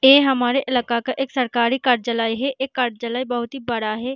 ये हमारे इलाका का एक सरकारी है यह बहुत ही बड़ा है।